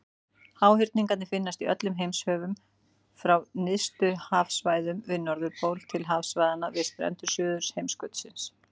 Háhyrningar finnast í öllum heimshöfum, frá nyrstu hafsvæðunum við Norðurpól til hafsvæðanna við strendur Suðurheimskautsins.